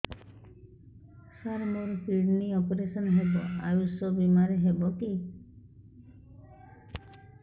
ସାର ମୋର କିଡ଼ନୀ ଅପେରସନ ହେବ ଆୟୁଷ ବିମାରେ ହେବ କି